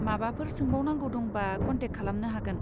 माबाफोर सोंबावनांगौ दंबा कन्टेक्ट खालामनो हागोन।